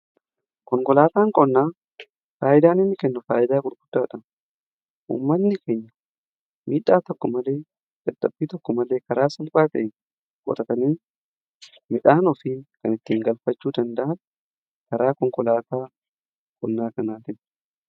konkolaataan qonnaa faayidaan inni kennu faayidaa gurguddaadha. ummanni keenya miidhaa tokko malee karaa salphaa ta'een qotatanii midhaan ofii kan ittiin galfachuu danda'an karaa konkolaataa qonnaa kanaatinidha.